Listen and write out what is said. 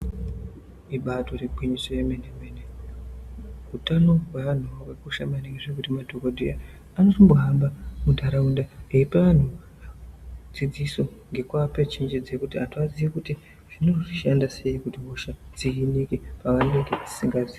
Ibatori gwinyiso yemene mene, utano wewanhu wakakosha maningi zvekuti madhokodheya anosimbo hamba mundaraunda eipa anhu dzidziso ngekuapa chenjedzo kuti anhu waziye kuti zvinoshanda sei kuti hosha dzimire paanenge asingazii.